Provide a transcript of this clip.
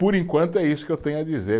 Por enquanto é isso que eu tenho a dizer.